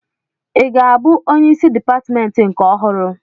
Ị ga-abụ onyeisi dịpatmentị nke ọhụrụ?